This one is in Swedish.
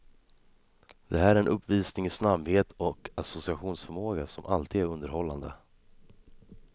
Det här är en uppvisning i snabbhet och associationsförmåga som alltid är underhållande.